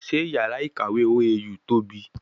Sé yàrá ìkàwé OAU tóbi?